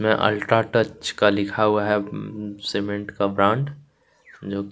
में अल्ट्राटेक का लिखा हुआ है सीमेंट का ब्रांड --